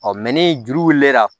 ni juru wulilen la